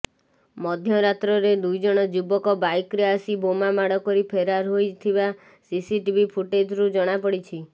ମଧ୍ୟରାତ୍ରରେ ଦୁଇଜଣ ଯୁବକ ବାଇକରେ ଆସି ବୋମା ମାଡ କରି ଫେରାର ହୋଇଥିବା ସିସିଟିଭି ଫୁଟେଜରୁ ଜଣା ପଡିଛି